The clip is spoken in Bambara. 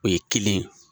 O ye kelen ye